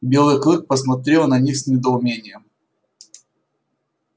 белый клык посмотрел на них с недоумением